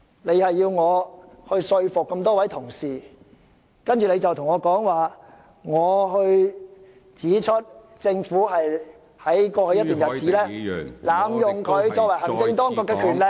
你指出我要說服各位議員支持議案，但當我指出政府在過去一段日子濫用行政當局的權力......